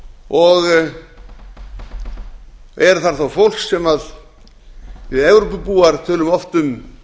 og er þar þó fólk sem við evrópubúar tölum oft um